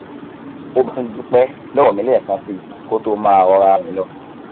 ó bá tún dúpẹ lọwọ mi lẹẹkan síi kó tó máa rọra rìn lọ